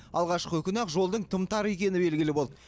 алғашқы күні ақ жолдың тым тар екені белгілі болды